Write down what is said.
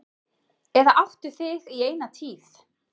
Eða áttu þig í eina tíð.